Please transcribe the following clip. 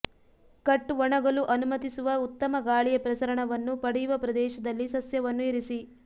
cut ಒಣಗಲು ಅನುಮತಿಸುವ ಉತ್ತಮ ಗಾಳಿಯ ಪ್ರಸರಣವನ್ನು ಪಡೆಯುವ ಪ್ರದೇಶದಲ್ಲಿ ಸಸ್ಯವನ್ನು ಇರಿಸಿ